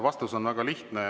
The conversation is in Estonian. Vastus on väga lihtne.